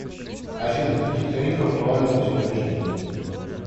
афина какие тарифы актуальны на сегодняшний день